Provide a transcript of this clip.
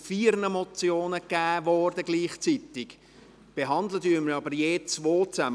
Die Antwort wurde gleichzeitig zu vier Motionen gegeben, wir behandeln je zwei zusammen.